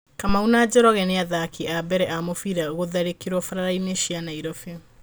Kamau na Njoroge nĩ athaki a mbere a mũbira gũtharĩkĩro barabarainĩ cia Nairobi